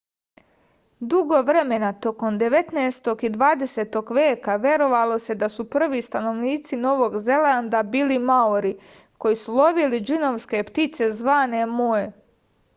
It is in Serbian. dugo vremena tokom devetnaestog i dvadesetog veka verovalo se da su prvi stanovnici novog zelanda bili maori koji su lovili džinovske ptice zvane moe